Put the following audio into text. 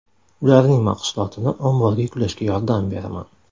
Ularning mahsulotini omborga yuklashga yordam beraman.